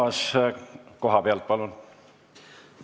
Arto Aas kohapealt, palun!